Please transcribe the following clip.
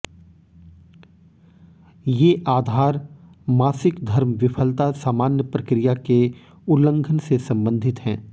ये आधार मासिक धर्म विफलता सामान्य प्रक्रिया के उल्लंघन से संबंधित हैं